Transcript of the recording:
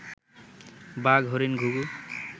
বাঘ, হরিণ, ঘুঘু